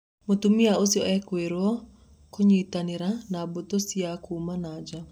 Mũtumia ũcio ekũĩirwo " kũnyitanĩra na mbũtũ cia kuuma nanja".